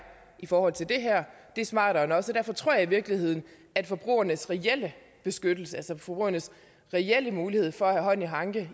i forhold til det her det smartere end os derfor tror jeg i virkeligheden at forbrugernes reelle beskyttelse altså forbrugernes reelle mulighed for at have hånd i hanke